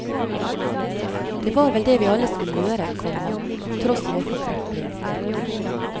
Det var vel det vi alle skulle gjøre, komma tross vår forkrøpling. punktum